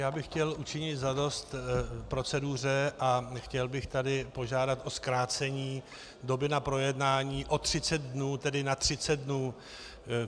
Já bych chtěl učinit zadost proceduře a chtěl bych tady požádat o zkrácení doby na projednání o 30 dnů, tedy na 30 dnů.